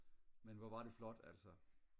men hvor var det flot altså